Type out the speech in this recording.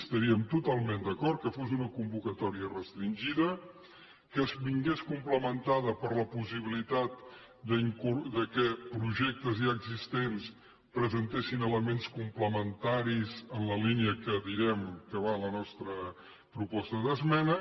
estaríem totalment d’acord que fos una convocatòria restringida que es complementés amb la possibilitat que projectes ja existents presentessin elements complementaris en la línia que direm que va la nostra proposta d’esmena